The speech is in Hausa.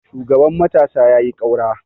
shugaban matasa ya yi kaura!